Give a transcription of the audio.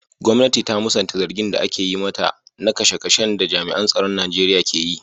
Gwamnati ta musanta zargin da ake yi mata na kashe-kashen da jami'an tsaron Najeriya ke yi.